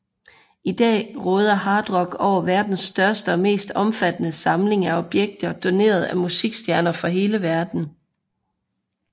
I dag råder Hard Rock over verdens største og mest omfattende samling af objekter doneret af musikstjerner fra hele verden